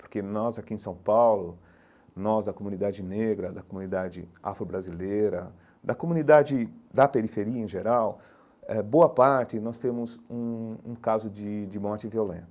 Porque nós aqui em São Paulo, nós da comunidade negra, da comunidade afro-brasileira, da comunidade da periferia em geral eh, boa parte nós temos um um caso de de morte violenta.